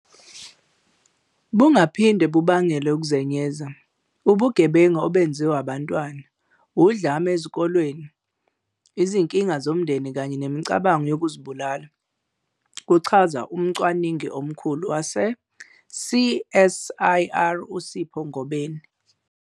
"Bungaphinde bubangele ukuzenyeza, ubugebengu obenziwa abantwana, udlame esikolweni, izinkinga zomndeni kanye nemicabango yokuzibulala," kuchaza umcwaningi omkhulu wase-CSIR uSipho Ngobeni.